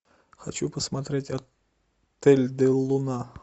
хочу посмотреть отель дель луна